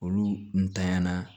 Olu ntanya na